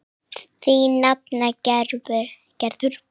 Þín nafna Gerður.